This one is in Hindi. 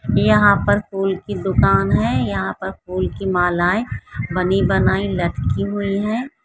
यहाँ पर फूल की दूकान है यहाँ पर फूल की मालाएं बनी बनाई लटकी हुई है।